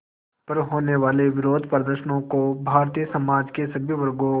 पर होने वाले विरोधप्रदर्शनों को भारतीय समाज के सभी वर्गों